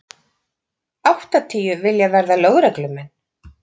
Áttatíu vilja verða lögreglumenn